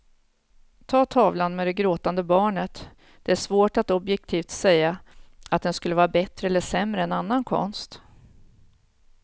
Ta tavlan med det gråtande barnet, det är svårt att objektivt säga att den skulle vara bättre eller sämre än annan konst.